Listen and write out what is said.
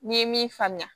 N'i ye min faamuya